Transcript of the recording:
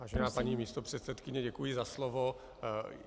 Vážená paní místopředsedkyně, děkuji za slovo.